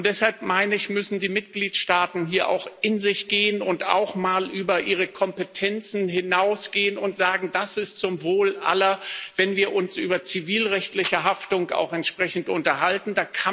Und deshalb, meine ich, müssen die Mitgliedsstaaten hier auch in sich gehen und auch mal über ihre Kompetenzen hinausgehen und sagen, das ist zum Wohl aller, wenn wir uns über zivilrechtliche Haftung auch entsprechend unterhalten.